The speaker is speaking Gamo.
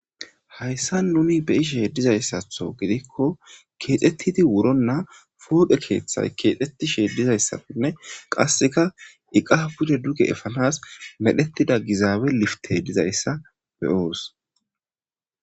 Haysan nuni be'ishe dizaysatho gidiko keexetidi wurona huphe keethay kexetishe dizaysane qasika iqa pude duge efanas gizawi liftey dizaysa be'os